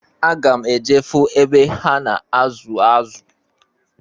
Aga m eje fụ ebe ha na-azụ azụ.